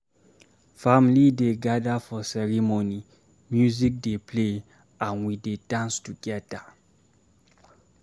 Family dey gather for ceremony, music dey play, and we dey dance together.